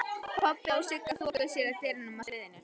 Kobbi og Sigga þokuðu sér að dyrunum að sviðinu.